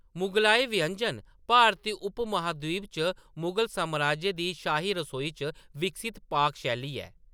मुगलई व्यंजन भारती उपमहाद्वीप च मुगल साम्राज्य दी शाही रसोई च विकसत पाक शैली ऐ।